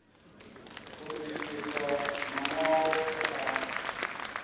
u swikiswa maṋwalo e a